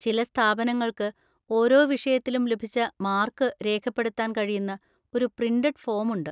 ചില സ്ഥാപനങ്ങൾക്ക് ഓരോ വിഷയത്തിലും ലഭിച്ച മാർക്ക് രേഖപ്പെടുത്താൻ കഴിയുന്ന ഒരു പ്രിന്‍റഡ് ഫോം ഉണ്ട്.